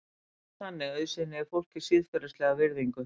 Einungis þannig auðsýni ég fólki siðferðilega virðingu.